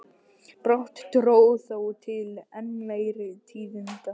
Brátt dró þó til enn meiri tíðinda.